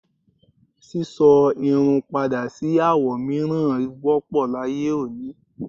sísọ irun padà sí àwo mìíràn wọ́pọ̀ láyé òní.